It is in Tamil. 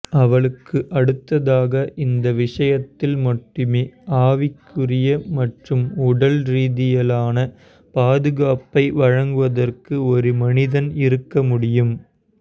அவளுக்கு அடுத்ததாக இந்த விஷயத்தில் மட்டுமே ஆவிக்குரிய மற்றும் உடல் ரீதியிலான பாதுகாப்பை வழங்குவதற்கு ஒரு மனிதன் இருக்க முடியும்